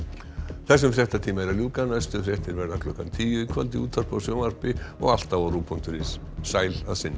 þessum fréttatíma er að ljúka næstu fréttir verða klukkan tíu í kvöld í útvarpi og sjónvarpi og alltaf á rúv punktur is sæl að sinni